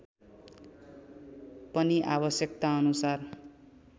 पनि आवश्यकतानुसार